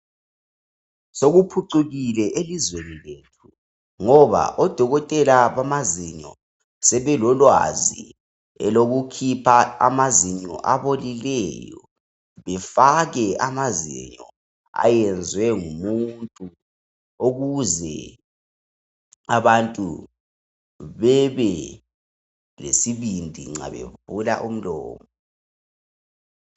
Sikuphucukile elizweni lethu ngoba odokotela bamazinyo sebelolwazi elokukhipha amazinyo abolileyo bafake amazinyo ayenziwe ngumuntu ukuze abantu bebe lesibindi nxa bevula umlomo.